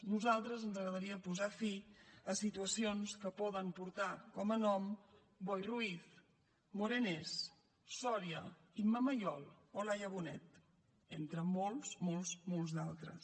a nosaltres ens agradaria posar fi a situacions que poden portar com a nom boi ruiz morenés soria imma mayol o laia bonet entre molts molts molts d’altres